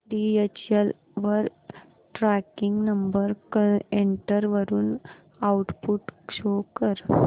DHL वर tracking number enter करून output show कर